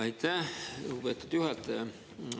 Aitäh, lugupeetud juhataja!